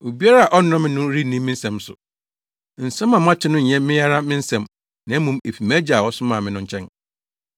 Obiara a ɔnnɔ me no renni me nsɛm so. Nsɛm a moate no nyɛ me ara me nsɛm, na mmom efi mʼAgya a ɔsomaa me no nkyɛn.